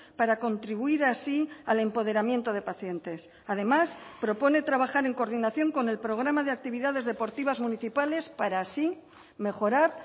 para contribuir así al empoderamiento de pacientes además propone trabajar en coordinación con el programa de actividades deportivas municipales para así mejorar